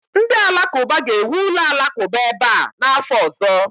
Ndị Alakụba ga-ewu ụlọ alakụba ebe a n'afọ ọzọ